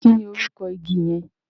Kí ni orúkọ igi yẹn?